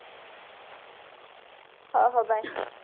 ହଉ ହଉ bye